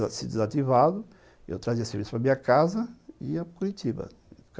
Tinha se desativado, eu trazia serviço para a minha casa e ia para Curitiba.